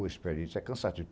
Ô, Esperito, isso é cansativo.